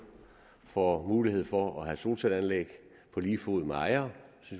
får mulighed for at have solcelleanlæg på lige fod med ejere